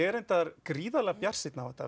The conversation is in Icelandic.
er reyndar gríðarlega bjartsýnn á þetta